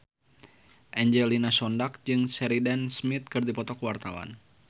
Angelina Sondakh jeung Sheridan Smith keur dipoto ku wartawan